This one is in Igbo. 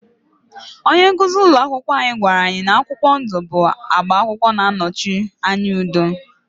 Onye nkuzi ụlọ akwụkwọ anyị gwara anyị na akwụkwọ ndụ akwụkwọ ndụ bụ agba na-anọchi anya udo